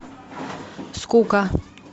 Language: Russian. скука